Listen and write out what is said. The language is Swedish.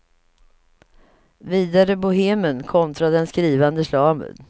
Vidare bohemen kontra den skrivande slaven.